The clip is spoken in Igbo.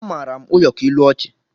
Amaara m ụyọkọ ilu ọchị